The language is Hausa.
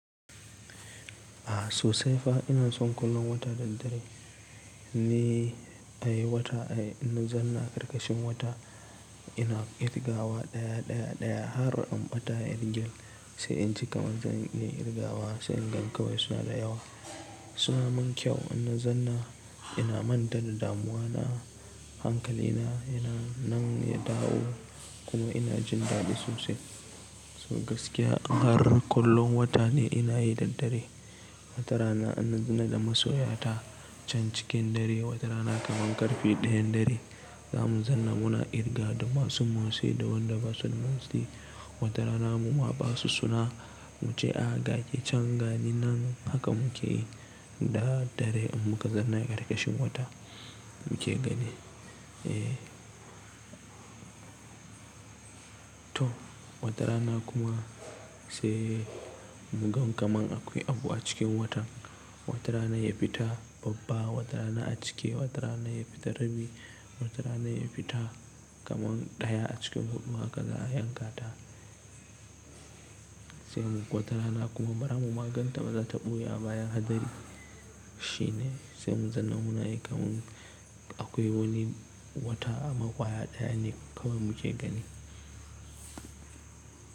A sosai fa ina son kallon wata da dare. Ni ai wata ai ina zanna ƙarƙashin wata ina kirgawa ɗaya ɗaya ɗaya har in ɓata kirgin sai in ci kamar zan yi kirgawa sai ingan kawai suna da yawa. Suna mun kyau ina zanna ina manta da damuwa na hankali na yana nan ya dawo kuma ina jin daɗi sosai. So gaskiya har kullum wata ne ina yi da dare. Watara na ina zana da masoya ta can cikin dare, watara na kaman ƙarfe ɗayan dare zamu zanna muna kirgawa da masu motsi da wanda basu da motsi. Watara na mu ma basu suna muce a ga ke can ga ni nan haka muke yi da dare in muka zanna ƙarƙashin wata muke gani. Eh. To watara na kuma sai mu gan kamar akwai abu a cikin watan. Watara na ya fita babba, watara na a cike, watara na ya fita rabi, watara na ya fita kaman ɗaya a cikin huɗu haka za a yanka ta. Sai mu watara na kuma bara mu maganta maza taɓo ya baya hadari shine sai mu zanna muna yi kamar akwai wani wata a maƙwaya ɗaya ne kaman mu ke gani.